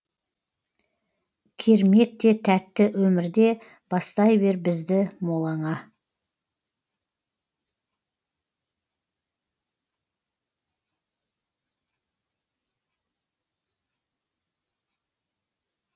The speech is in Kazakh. кермек те тәтті өмірде бастай бер бізді молаңа